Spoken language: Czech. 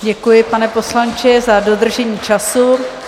Děkuji, pane poslanče, za dodržení času.